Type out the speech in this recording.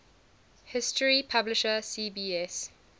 history publisher cbs